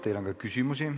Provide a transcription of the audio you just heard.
Teile on ka küsimusi.